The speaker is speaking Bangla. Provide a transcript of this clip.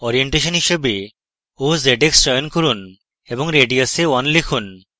orientation হিসাবে ozx চয়ন করুন এবং radius এ 1 লিখুন